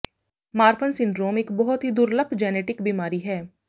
Marfan syndrome ਇੱਕ ਬਹੁਤ ਹੀ ਦੁਰਲੱਭ ਜੈਨੇਟਿਕ ਬਿਮਾਰੀ ਹੈ